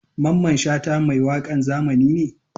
Mamman Shata mai wakan zamani ne?